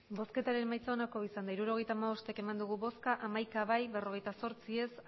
emandako botoak hirurogeita hamabost bai hamaika ez berrogeita zortzi